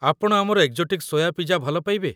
ଆପଣ ଆମର exotic soya pizza ଭଲ ପାଇବେ?